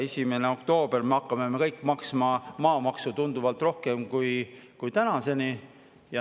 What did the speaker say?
1. oktoobril hakkame me kõik maksma maamaksu tunduvalt rohkem kui tänaseni.